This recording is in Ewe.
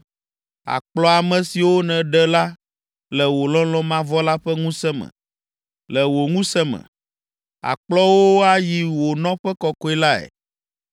“Àkplɔ ame siwo nèɖe la le wò lɔlɔ̃ mavɔ la ƒe ŋusẽ me. Le wò ŋusẽ me, àkplɔ wo ayi wò nɔƒe kɔkɔe lae.